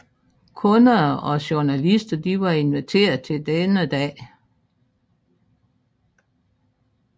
Kunder og journalister var inviteret til denne dag